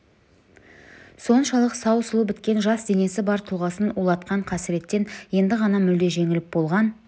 соншалық сау сұлу біткен жас денесі бар тұлғасын улатқан қасіреттен енді ғана мүлде жеңіліп болған